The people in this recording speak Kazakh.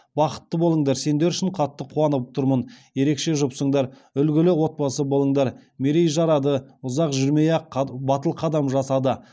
бақытты болыңдар сендер үшін қатты қуанып тұрмын ерекше жұпсыңдар үлгілі отбасы болыңдар мерей жарады ұзақ жүрмей ақ батыл қадам жасады